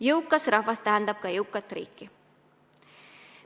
Jõukas rahvas tähendab ka jõukat riiki.